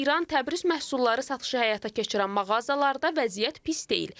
Hazırda İran Təbriz məhsulları satışı həyata keçirən mağazalarda vəziyyət pis deyil.